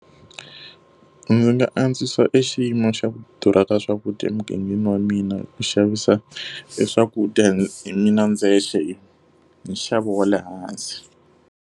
Ndzi nga antswisa e xiyimo xa ku durha ka swakudya emugangeni wa mina hi ku xavisa e swakudya hi mina ndzexe hi nxavo wa le hansi.